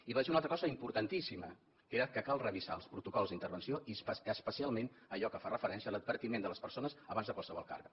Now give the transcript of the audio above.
i vaig dir una altra cosa importantíssima que era que cal revisar els protocols d’intervenció i especialment allò que fa referència a l’advertiment de les persones abans de qualsevol càrrega